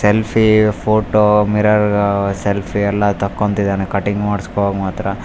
Selfie photo mirror ಆಅ selfie ಎಲ್ಲ ತಕೊಂತಿದ್ದಾನೆ ಕಟ್ಟಿಂಗ್ ಮಾಡ್ಸ್ಕೊವಗ್ ಮಾತ್ರ.